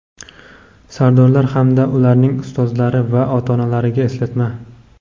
sardorlar hamda ularning ustozlari va ota-onalariga eslatma.